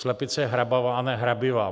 Slepice je hrabavá, a ne hrabivá.